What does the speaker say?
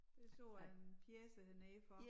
Det så jeg en pjece hernede for